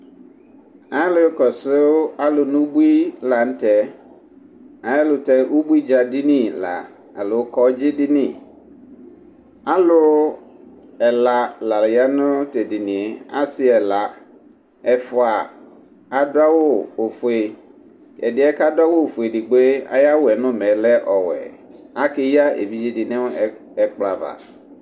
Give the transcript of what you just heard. alò kɔsu alò no ubui lantɛ ɛlutɛ ubui dza dini la alò kɔdzi dini alò ɛla la ya no t'edinie asi ɛla ɛfua adu awu ofue ɛdiɛ k'adu awu ofue edigbo yɛ ayi awu yɛ n'umɛ lɛ ɔwɛ ake ya evidze di no ɛkplɔ ava.